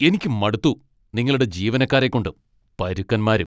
എനിക്ക് മടുത്തു നിങ്ങളുടെ ജീവനക്കാരെ കൊണ്ട്. പരുക്കന്മാര്.